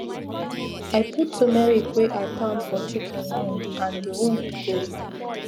i put tumeric wey i pound for chicken wound and di wound go